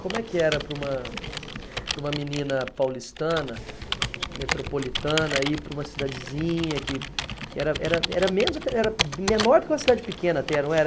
Como é que era para uma, para uma menina paulistana, metropolitana, ir para uma cidadezinha que que era era era menos até, era menor do que uma cidade pequena até, não era?